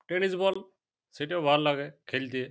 Tennis ball সেটাও ভালো লাগে খেলতে।